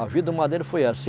A vida, o madeiro foi essa.